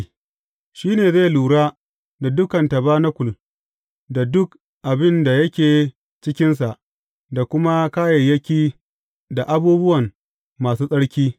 Shi ne zai lura da dukan tabanakul da duk abin da yake cikinsa da kuma kayayyaki da abubuwan masu tsarki.